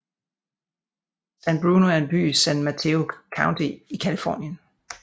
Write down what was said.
San Bruno er en by i San Mateo County i Californien